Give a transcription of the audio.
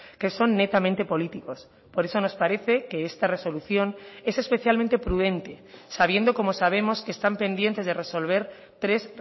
que son netamente políticos por eso nos parece que esta resolución es especialmente prudente sabiendo como sabemos que están pendientes de resolver tres